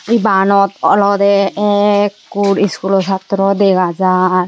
Ebanot olode ekkur schoolo satro dega jaar.